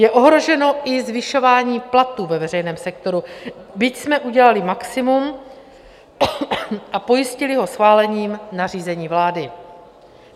Je ohroženo i zvyšování platů ve veřejném sektoru, byť jsme udělali maximum a pojistili ho schválením nařízení vlády.